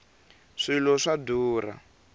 swilo swa durha